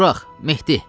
Burax, Mehdi.